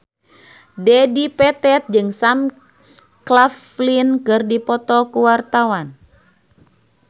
Dedi Petet jeung Sam Claflin keur dipoto ku wartawan